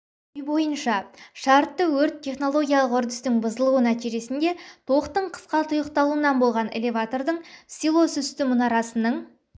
ой бойынша шартты өрт технологиялық үрдістің бұзылуы нәтижесінде тоқтың қысқа тұйықталуынан болған элеватордың силосүсті мұнарасының